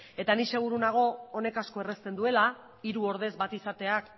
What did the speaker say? eta ni seguru nago honek asko errazten duela hiru ordez bat izateak